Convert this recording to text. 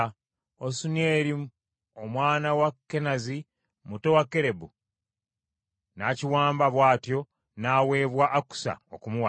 Osunieri, omwana wa Kenazi muto wa Kalebu n’akiwamba bw’atyo n’aweebwa Akusa okumuwasa.